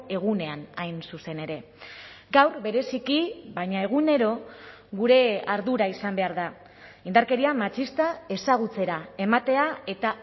egunean hain zuzen ere gaur bereziki baina egunero gure ardura izan behar da indarkeria matxista ezagutzera ematea eta